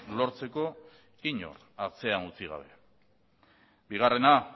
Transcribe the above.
lortzeko inor atzean utzi gabe bigarrena